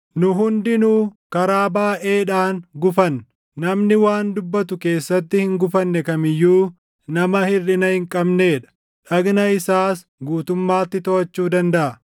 Nu hundinuu karaa baayʼeedhaan gufanna. Namni waan dubbatu keessatti hin gufanne kam iyyuu nama hirʼina hin qabnee dha; dhagna isaas guutummaatti toʼachuu dandaʼa.